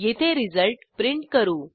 येथे result print करू